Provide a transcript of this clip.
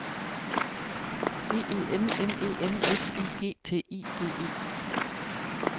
G E N N E M S I G T I G E